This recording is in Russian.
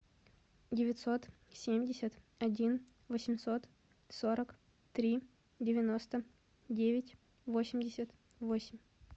девятьсот семьдесят один восемьсот сорок три девяносто девять восемьдесят восемь